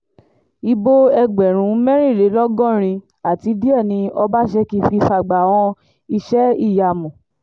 ibo ẹgbẹ̀rún mẹ́rìnlélọ́gọ́rin àti díẹ̀ ni ọbaṣẹ́kí fi fàgbà han iṣẹ́-ìyamù